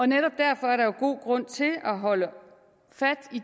netop derfor er der jo god grund til at holde fast i